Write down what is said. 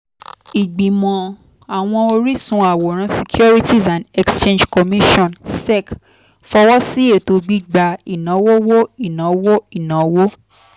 ìgbìmọ̀ àwọn oríṣun àwòrán securities and exchange commission (sec) fọwọ́ sí ètò gbígba ìnáwówó ìnáwó ìnáwó